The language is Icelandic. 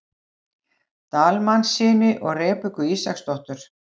Dalmannssyni og Rebekku Ísaksdóttur.